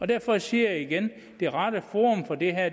derfor siger jeg igen at det rette forum for det